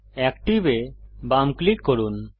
active এ বাম click করুন